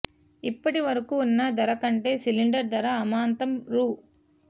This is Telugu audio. ఇప్పటి వరకూ ఉన్న ధర కంటే సిలిండర్ ధర అమాంతం రూ